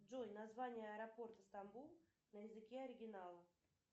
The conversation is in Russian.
джой название аэропорта стамбул на языке оригинала